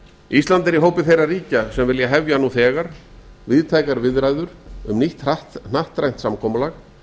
ísland er í hópi þeirra ríkja sem vilja hefja nú eiga víðtækar viðræður um nýtt hnattrænt samkomulag